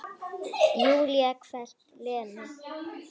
Júlía hvellt: Lena!